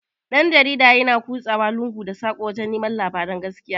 Dan-jarida yana ƙusawa lungu da saƙuna wajan neman labaran gaskiya.